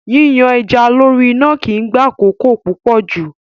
Yíyan ẹja lórí iná kì í gba àkókò púpọ̀ jù.